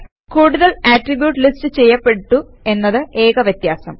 കൂടുതൽ attributes list ചെയ്യപ്പെട്ടു എന്നത് ഏക വ്യത്യാസം